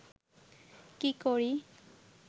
কী করি